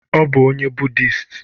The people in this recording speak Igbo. Ọ bụ onye budist?